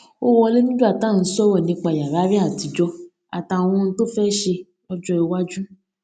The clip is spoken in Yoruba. ó wọlé nígbà tá à ń sòrò nípa yàrá rè àtijó àtàwọn ohun tó fé ṣe lójó iwájú